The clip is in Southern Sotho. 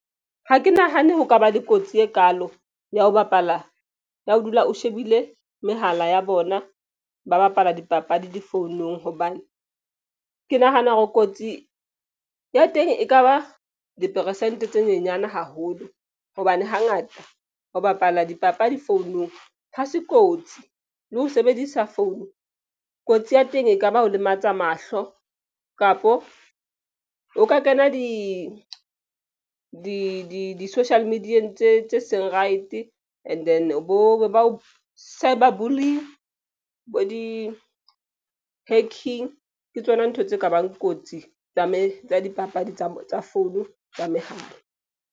Ha ke nahane ho kaba le kotsi e kaalo ya ho bapala ya ho dula o shebile mehala ya bona, ba bapala dipapadi difounong. Hobane ke nahana hore kotsi ya teng e kaba diperesente tse nyenyane haholo. Hobane hangata ho bapala dipapadi founung ha se kotsi le ho sebedisa phone, kotsi ya teng e kaba ho lematsa mahlo kapo o ka kena di-social media-yeng tse seng right. And then bo cyber bullying bo di-hacking. Ke tsona ntho tse kabang kotsi tsa dipapadi tsa phone tsa mehala.